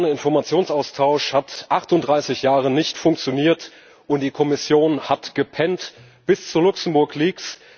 Der spontane Informationsaustausch hat seit 38 Jahren nicht funktioniert und die EU Kommission hat gepennt, bis zu LuxLeaks.